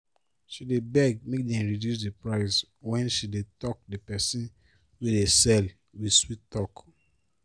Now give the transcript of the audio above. she dey beg make dem reduce the price when she dey talk the person wey dey sell with sweet talk